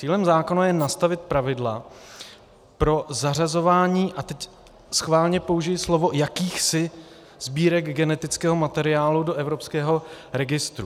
Cílem zákona je nastavit pravidla pro zařazování - a teď schválně použiji slovo "jakýchsi" - sbírek genetického materiálu do evropského registru.